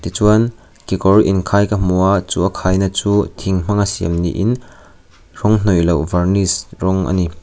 chuan kekawr inkhai ka hmu a chu a khaina chu thing hmanga siam niin rawng hnawih loh varnish rawng a ni.